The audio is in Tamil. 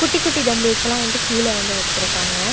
குட்டி குட்டி தம்பில்ஸ் லா வந்து கீழ வந்து வெச்சிருக்காங்க.